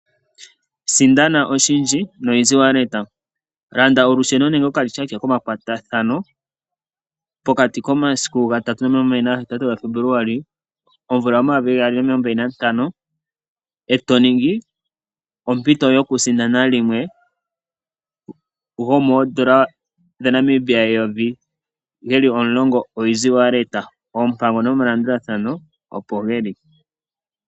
Sindana oshindji no Easy walleta. Landa olusheno nenge okalityaatya komakwatathano pokati komasiku 3-28 Februali 2025 e to mono ompito yokusindana yimwe yomoowaaleta omulongo dhoN$1000 . Oompango nomalandathano opo dhi li.